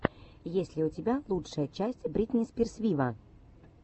есть ли у тебя лучшая часть бритни спирс виво